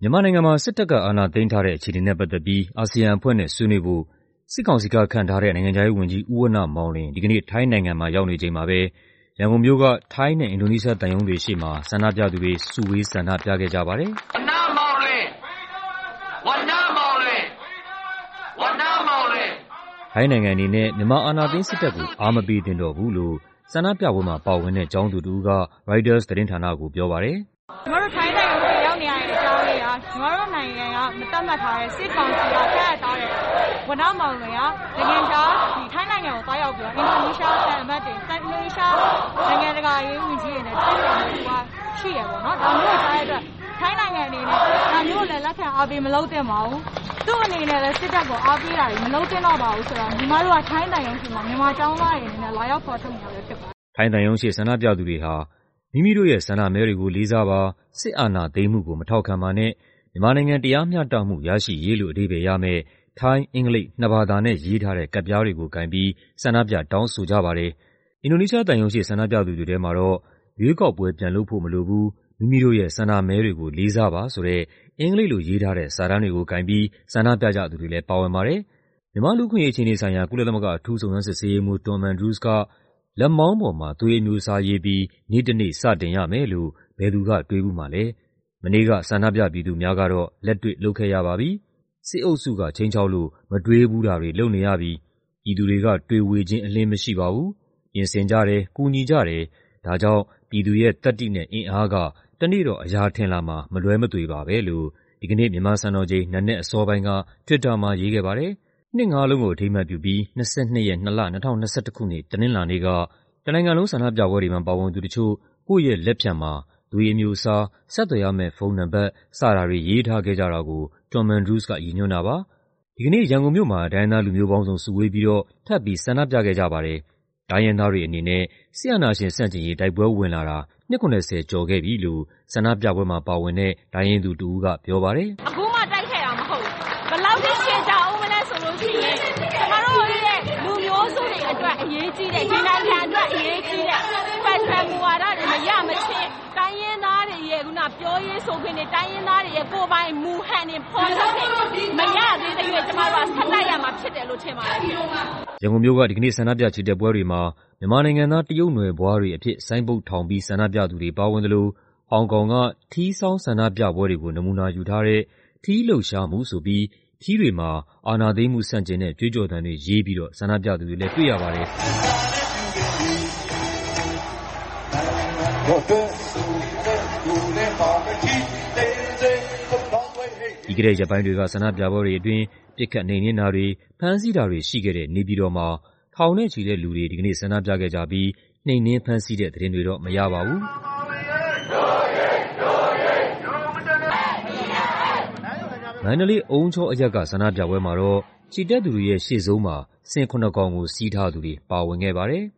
မြန်မာနိုင်ငံမှာ စစ်တပ်က အာဏာသိမ်းထားတဲ့ အခြေအနေနဲ့ ပတ်သက်ပြီး အာဆီယံအဖွဲ့နဲ့ ဆွေးနွေးဖို့ စစ်ကောင်စီကခန့်ထားတဲ့ နိုင်ငံခြားရေးဝန်ကြီး ဦးဝဏ္ဏမောင်လွင် ဒီကနေ့ ထိုင်းနိုင်ငံမှာရောက်နေချိန်မှာပဲ ရန်ကုန်မြို့က ထိုင်းနဲ့ အင်ဒိုနီးရှားသံရုံးတွေရှေ့မှာ ဆန္ဒပြသူတွေ စုဝေး ဆန္ဒပြခဲ့ကြပါတယ်။ ထိုင်းနိုင်ငံအနေနဲ့ မြန်မာ အာဏာသိမ်းစစ်တပ်ကို အားမပေးသင့်တော့ဘူးလို့ ဆန္ဒပြပွဲမှာပါဝင်တဲ့ ကျောင်းသူတစ်ဦးက ရိုက်တာသတင်းဌာနကိုပြောပါတယ်။ "ညီမတို့ ထိုင်းသံရုံးရှေ့ ရောက်နေရတဲ့ အကြောင်းအရင်းက ညီမတို့ နိုင်ငံက မသတ်မှတ်ထားတဲ့ စစ်ကောင်စီက ခန့်အပ်ထားတဲ့ ဝဏ္ဏမောင်လွင်ဟာ ထိုင်းနိုင်ငံကို သွားရောက်ပြီးတော့ အင်ဒိုနီးရှားက သံအမတ်တွေ၊ နိုင်ငံခြားရေးဝန်ကြီးတွေနဲ့ တွေ့ဆုံဖို့သူက ရှိတယ်ပေါ့နော်။ ဒါမျိုးကို ကြားတဲ့အတွက် ထိုင်းနိုင်ငံအနေနဲ့ ဒါမျိုးကို လက်ခံအားပေးမလုပ်သင့်ပါဘူး။ သူ့အနေနဲ့လည်း စစ်တပ်ကို အားပေးတာတွေ မလုပ်သင့်တော့ပါဘူးဆိုတာ ညီမတို့က ထိုင်းသံရုံးရှေ့မှာ မြန်မာကျောင်းသားတွေအနေနဲ့ လာရောက်ဖော်ထုတ်နေတာဖြစ်ပါတယ်။" ထိုင်းသံရုံးရှေ့ဆန္ဒပြသူတွေဟာ "မိမိတို့ရဲ့ဆန္ဒမဲတွေကို လေးစားပါ၊ စစ်အာဏာသိမ်းမှုကို မထောက်ခံပါနဲ့၊ မြန်မာနိုင်ငံ တရားမ ျှတမှုရရှိရေး" လို့ အဓိပ္ပါယ်ရမယ့် ထိုင်း၊ အင်္ဂလိပ် နှစ်ဘာသာနဲ့ရေးထားတဲ့ ကဒ်ပြားတွေကို ကိုင်ပြီး ဆန္ဒပြတောင်းဆိုကြပါတယ်။ အင်ဒိုနီးရှားသံရုံးရှေ့ ဆန္ဒပြသူတွေထဲမှာတော့ "ရွေးကောက်ပွဲ ပြန်လုပ်ဖို့မလိုဘူး၊ မိမိတို့ရဲ့ဆန္ဒမဲတွေကို လေးစားပါ။" ဆိုတဲ့ အင်္ဂလိပ်လိုရေးထားတဲ့ စာတမ်းတွေကိုကိုင်ပြီး ဆန္ဒပြကြသူတွေလည်း ပါဝင်ပါတယ်။ မြန်မာ့လူ့အခွင့်အရေးအခြေအနေဆိုင်ရာ ကုလသမဂ္ဂ အထူးစုံစမ်းစစ်ဆေးရေးမှူး Tom Andrews က "လက်မောင်းပေါ်မှာ သွေးအမျိုးအစားရေးပြီး နေ့တစ်နေ့စတင်ရမယ်လို့ ဘယ်သူက တွေးဖူးမှာလဲ၊ မနေ့က ဆန္ဒပြ ပြည်သူများကတော့ လက်တွေ့လုပ်ခဲ့ရပါပြီ။ စစ်အုပ်စုကခြိမ်းခြောက်လို့ မတွေးဖူးတာတွေ လုပ်နေရပြီ။ ပြည်သူတွေက တွေဝေခြင်းအလျဉ်းမရှိပါဘူး။ ပြင်ဆင်ကြတယ်၊ ကူညီကြတယ်၊ ဒါကြောင့် ပြည်သူရဲ့ သတ္တိနဲ့အင်အားက တစ်နေ့တော့ အရာထင်လာမှာ မလွဲမသွေပါပဲ" လို့ ဒီကနေ့ မြန်မာစံတော်ချိန် နံနက်အစောပိုင်းက Twitter မှာရေးခဲ့ပါတယ်။ ၂ ငါးလုံးကို အထိမ်းအမှတ်ပြုပြီး ၂၂ ရက်၊ ၂ လ၊ ၂၀၂၁ ခုနှစ် တနင်္လာနေ့က တနိုင်ငံလုံး ဆန္ဒပြပွဲတွေမှာ ပါဝင်သူတချို့ ကိုယ့်ရဲ့လက်ဖျံမှာ ကိုယ့်သွေးအမျိုးအစား၊ ဆက်သွယ်ရမယ့်ဖုန်းနံပါတ် စတာတွေရေးထားခဲ့ကြတာကို Tom Andrews က ရည်ညွှန်းတာပါ။ ဒီကနေ့ ရန်ကုန်မြို့မှာ တိုင်းရင်းသားလူမျိုးပေါင်းစုံ စုဝေးပြီးတော့ ထပ်ပြီး ဆန္ဒပြခဲ့ကြပါတယ်။ တိုင်းရင်းသားတွေအနေနဲ့ စစ်အာဏာရှင်ဆန့်ကျင်ရေး တိုက်ပွဲဝင်လာတာ နှစ် ၇၀ ကျော်ခဲ့ပြီလို့ ဆန္ဒပြပွဲမှာပါဝင်တဲ့ တိုင်းရင်းသူတစ်ဦးကပြောပါတယ်။ "အခုမှ တိုက်ခဲ့တာမဟုတ်ဘူး။ ဘယ်လောက်ထိ ရှည်ကြာဦးမလဲဆိုလို့ရှိရင် ကျမတို့ရဲ့ လူမျိုးစုတွေအတွက် အရေးကြီးတဲ့၊ ဒီနိုင်ငံအတွက် အရေးကြီးတဲ့ Federal မူဝါဒတွေ မရမခြင်း တိုင်းရင်းသားတွေရဲ့ ပြောရေးဆိုခွင့်တွေ၊ တိုင်းရင်းသားတွေရဲ့ ကိုယ်ပိုင်မူဟန်တွေ ဖော်ထုတ်ခွင့် မရသေးသရွေ့ ကျမတို့ကဆက်တိုက်ရမှာ ဖြစ်တယ်လို့ ထင်ပါတယ်ရှင့်။" ရန်ကုန်မြို့က ဒီကနေ့ဆန္ဒပြချီတက်ပွဲတွေမှာ မြန်မာနိုင်ငံသား တရုတ်နွယ်ဖွားတွေအဖြစ် ဆိုင်းဘုတ်ထောင်ပြီး ဆန္ဒပြသူတွေပါဝင်သလို ဟောင်ကောင်က ထီးဆောင်းဆန္ဒပြပွဲတွေကို နမူနာယူထားတဲ့ ထီးလှုပ်ရှားမှုဆိုပြီး ထီးတွေမှာ အာဏာသိမ်းမှုဆန့်ကျင်တဲ့ ကြွေးကျော်သံတွေရေးပြီးတော့ ဆန္ဒပြသူတွေလည်း တွေ့ရပါတယ်။ ပြီးခဲ့တဲ့ရက်ပိုင်းတွေက ဆန္ဒပြပွဲတွေအတွင်း ပစ်ခတ်နှိမ်နင်းတာတွေ၊ ဖမ်းဆီးတာတွေရှိခဲ့တဲ့ နေပြည်တော်မှာ ထောင်နဲ့ချီတဲ့လူတွေ ဒီကနေ့ဆန္ဒပြခဲ့ကြပြီး နှိမ်နင်း ဖမ်းဆီးတဲ့သတင်းတွေတော့ မရပါဘူး။ မန္တလေး၊ အုံးချောအရပ်က ဆန္ဒပြပွဲမှာတော့ ချီတက်သူတွေရဲ့ ရှေ့ဆုံးမှာ ဆင်ခုနစ်ကောင်ကို စီးထားသူတွေပါဝင်ခဲ့ပါတယ်။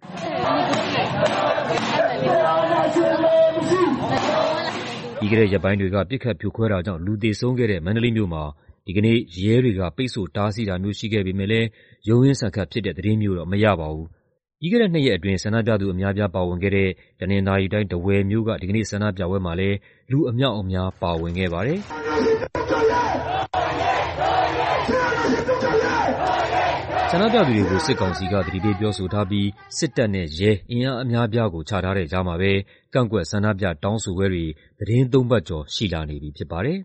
ပြီးခဲ့တဲ့ရက်ပိုင်းတွေက ပစ်ခတ်ဖြိုခွဲတာကြောင့် လူသေဆုံးခဲ့တဲ့ မန္တလေးမြို့မှာ ဒီကနေ့ ရဲတွေက ပိတ်ဆို့တားဆီးတာမျိုး ရှိခဲ့ပေမဲ့လည်း ရုန်းရင်းဆန်ခတ်ဖြစ်တဲ့သတင်းမျိုးတော့ မရပါဘူး။ ပြီးခဲ့တဲ့နှစ်ရက်အတွင်း ဆန္ဒပြသူအများအပြား ပါဝင်ခဲ့တဲ့ တနင်္သာရီတိုင်း၊ ထားဝယ်မြို့က ဒီကနေ့ ဆန္ဒပြပွဲမှာလည်း လူအများအပြားပါဝင်ခဲ့ပါတယ်။ ဆန္ဒပြသူတွေကို စစ်ကောင်စီက သတိပေးပြောဆိုထားပြီး စစ်တပ်နဲ့ ရဲ အင်အားအများအပြားကို ချထားတဲ့ကြားမှာပဲ ကန့်ကွက်ဆန္ဒပြတောင်းဆိုပွဲတွေ သီတင်းသုံးပတ်ကျော် ရှိလာနေပြီဖြစ်ပါတယ်။